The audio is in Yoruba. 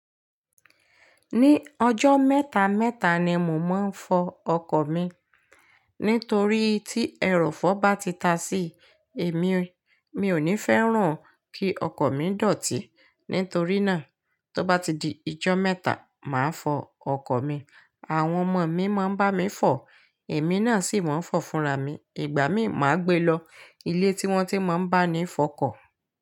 Ní ọjọ́ mẹ́ta mẹ́ta ni mò máa n fọ ọkọ̀ mi. Nítorí tí ẹrọ̀fọ̀ bá ti ta sí ẹ̀ mi, mi ò ní fẹ́ràn kí ọkọ́ mi dọ̀tí. Nítorí náà, tó bá ti di ijọ́ mẹ́ta, màá fọ ọkọ́ mi. Àwọn ọmọ mi máa ń bá mi fọ, èmi náà sì máa ń fọ fúnra mi. Ìgbà míì, màá gbe lọ ilé tí wọ́n ti máa ń bá ni fọ ọkọ́.